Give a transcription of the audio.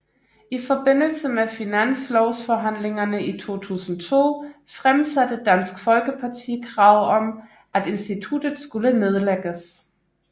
I forbindelse med Finanslovsforhandlingerne i 2002 fremsatte Dansk Folkeparti krav om at instituttet skulle nedlægges